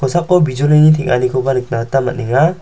bijolini teng·anikoba nikna gita man·enga.